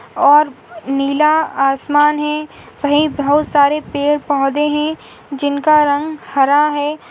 और नीला आसमान है वही बहुत सारे पेड़-पौधे है जिनका रंग हरा है।